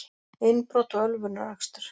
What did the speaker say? Innbrot og ölvunarakstur